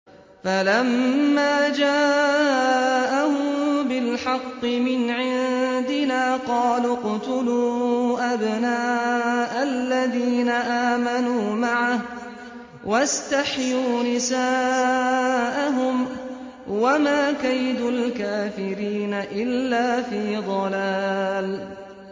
فَلَمَّا جَاءَهُم بِالْحَقِّ مِنْ عِندِنَا قَالُوا اقْتُلُوا أَبْنَاءَ الَّذِينَ آمَنُوا مَعَهُ وَاسْتَحْيُوا نِسَاءَهُمْ ۚ وَمَا كَيْدُ الْكَافِرِينَ إِلَّا فِي ضَلَالٍ